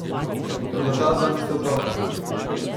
Toda ta dva nista otroka.